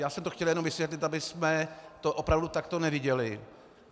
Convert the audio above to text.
Já jsem to chtěl jenom vysvětlit, abychom to opravdu takto neviděli.